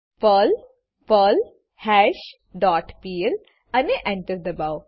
Perl પર્લ્હાશ dot pl અને Enter enter દબાઓ